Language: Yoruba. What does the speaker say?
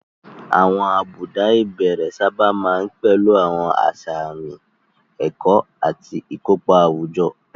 Àwọn àbùdá ìbẹ̀rẹ̀ sábà máa ń pẹ̀lú àwọn àṣà àmì, ẹ̀kọ́, àti ìkópa àwùjọ.